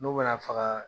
N'o mana faga